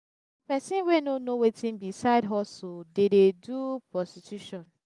person wey no know wetin be side hustle dey dey do prostitution